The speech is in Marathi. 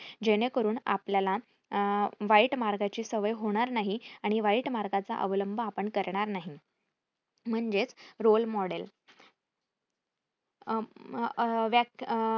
जेणेकरून आपल्याला अं वाईट मार्गाची सवय होणार नाही आणि वाईट मार्गाचा अवलंब आपण करणार नाही म्हणजेच role model अं व्याक अह